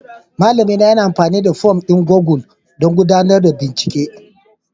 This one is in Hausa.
Malamina yana amfani da fom ɗin Google don gudanar da bincike